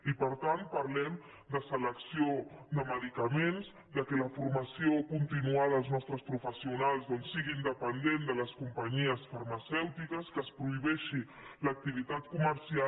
i per tant parlem de selec·ció de medicaments que la formació continuada als nostres professionals doncs sigui independent de les companyies farmacèutiques que es prohibeixi l’acti·vitat comercial